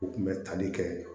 U kun bɛ tali kɛ